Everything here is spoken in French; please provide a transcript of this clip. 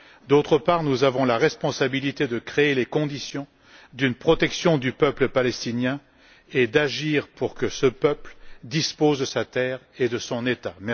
D'autre part, nous avons la responsabilité de créer les conditions d'une protection du peuple palestinien et d'agir pour que ce peuple dispose de sa terre et de son État.